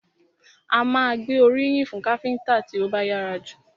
A má a gbé oríyìn fún káfíńńtà tí ó bá yára jù.